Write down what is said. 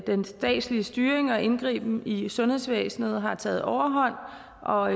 den statslige styring og indgriben i sundhedsvæsenet har taget overhånd og